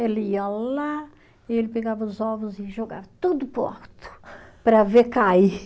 Ele ia lá, ele pegava os ovos e jogava tudo para o alto, para ver cair.